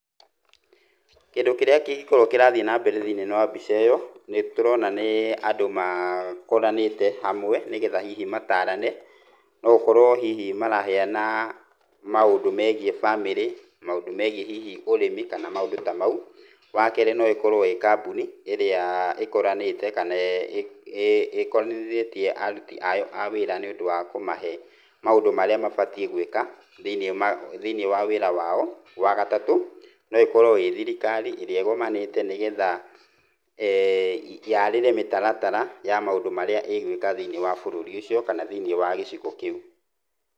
Kĩndũ kĩrĩa kĩngĩkorwo kĩrathiĩ na mbera thĩinĩ wa mbica ĩyo nĩ tũrona nĩ andũ makoranĩte hamwe nĩgetha hihi matarane, no gũkorwo hihi maraheana maũndũ megiĩ famĩlĩ, maũndũ megiĩ hihi ũrĩmi kana maũndũ ta mau. Wa kerĩ no ĩkorwo ĩĩ kambuni ĩrĩa ĩkũranĩte kana ĩkonanĩrĩtie aruti a wĩra nĩũndũ wa kũmahe maũndũ marĩa mabatiĩ gwĩka thĩinĩ wa wĩra wao. Wa gatatũ no ĩkorwo ĩĩ thirikari ĩrĩa ĩgomanĩte nĩgetha yaarĩre mĩtaratara ya maũndu marĩa ĩgwĩka thĩinĩ wa bururi ucio kana thĩinĩ wa gicigo kĩu.